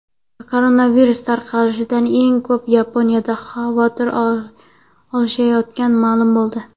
Koronavirus tarqalishidan eng ko‘p Yaponiyada xavotir olishayotgani ma’lum bo‘ldi.